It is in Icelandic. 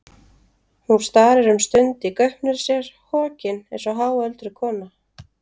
Hún starir um stund í gaupnir sér, hokin eins og háöldruð kona.